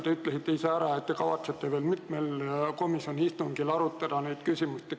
Te ütlesite ise ära, et te kavatsete veel mitmel komisjoni istungil neid küsimusi arutada.